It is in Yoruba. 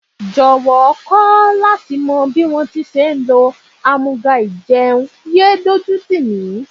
Jọ̀wọ́ kọ́ láti mọ bí wón ti ń ṣe lò àmúga-ìjẹun, yéé dójú tìmí.